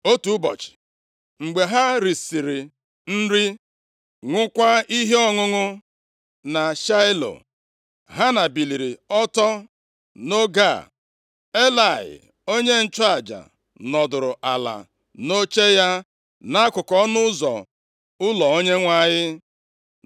Otu ụbọchị mgbe ha risiri nri, ṅụọkwa ihe ọṅụṅụ na Shaịlo, Hana biliri ọtọ. Nʼoge a, Elayị onye nchụaja nọdụrụ ala nʼoche ya nʼakụkụ ọnụ ụzọ ụlọ Onyenwe anyị.